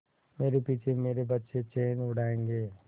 मेरे पीछे मेरे बच्चे चैन उड़ायेंगे